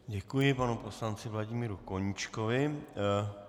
Děkuji panu poslanci Vladimíru Koníčkovi.